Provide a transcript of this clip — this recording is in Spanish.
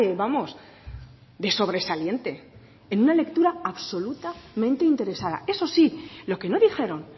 vamos de sobresaliente en una lectura absolutamente interesada eso sí lo que no dijeron